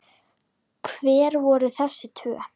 Hver voru þessi tvö?